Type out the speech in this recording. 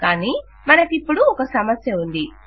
కానీ మనకిపుడు ఒక సమస్య ఉంది